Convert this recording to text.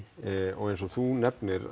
og eins og þú nefnir